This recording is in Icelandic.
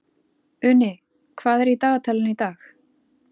Uni, hvað er í dagatalinu í dag?